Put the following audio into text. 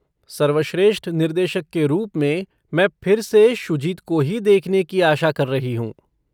सर्वश्रेष्ठ निर्देशक के रूप में मैं फिर से शुजित को ही देखने की आशा कर रही हूँ।